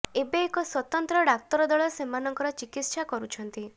ଏବେ ଏକ ସ୍ୱତନ୍ତ୍ର ଡାକ୍ତର ଦଳ ସେମାନଙ୍କର ଚିକିତ୍ସା କରୁଛନ୍ତି